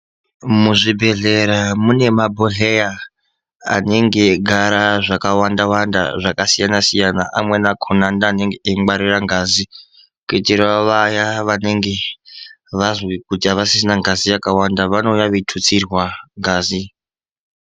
Muzvibhedhlera mune mabhodhleya anenge eigara zvakawanda-wanda zvakasiyana-siyana amweni akona ndiwo anenge eingwarira ngazi kuitirawo vaya vanenge vazwe kuti havasisina ngazi yakawanda vanouya veitutsirwa ngazi.